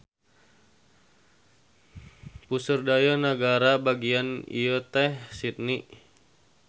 Puseur dayeuh nagara bagian ieu teh Sydney.